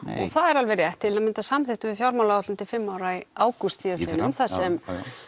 það er alveg rétt til að mynda samþykktum við fjármálaáætlun til fimm ára í ágúst síðastliðnum þar sem